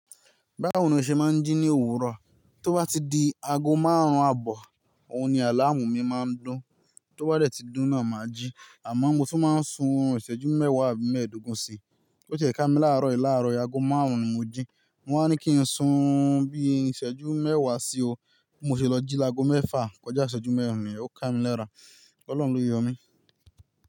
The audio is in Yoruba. Báwo ni o ṣe máa ń jí ní èwùro? Tó bá ti di ago márùn-ún àbọ̀, òun ni àlàmú mi máa ń dún. Tó bá dẹ̀ tí dún náà máa jí. Àmọ́ mo tún máa ń sun òrun ìsẹ́jú mẹ́wàá àbí mẹ́ẹ̀ẹ́dógún sí i. Ó jẹ̀ ká mi láàárọ̀ yìí, láàárọ̀ yìí ago márùn-ún ni mo jí. Mo wá ní kí n sun ún bí ìsẹ́jú mẹ́wàá sí i o. Bi mo ṣe lọ jí lágo mẹ́fà kọjá ìsẹ́jú mẹ́rin niyen, ó ká mi léra. Ọlọ́run ló yọ mí.